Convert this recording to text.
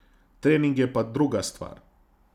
Trening je pa druga stvar.